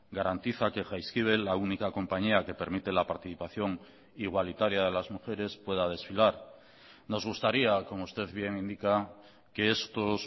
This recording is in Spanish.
garantiza que jaizkibel la única compañía que permite la participación igualitaria de las mujeres pueda desfilar nos gustaría como usted bien indica que estos